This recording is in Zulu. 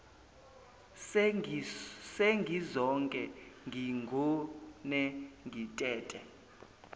sengizoke ngigone ngitete